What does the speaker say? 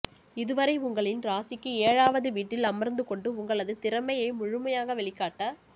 இதுவரை உங்களின் ராசிக்கு ஏழாவது வீட்டில் அமர்ந்துக் கொண்டு உங்களது திறமையை முழுமையாக வெளிக்காட்ட